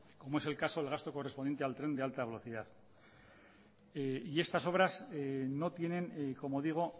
como es el caso del gasto correspondiente al tren de alta velocidad y estas obras no tienen como digo